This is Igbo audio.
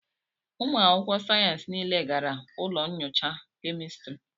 ụmụ akwụkwọ sayensị niile gara ụlọ nyocha kemịstri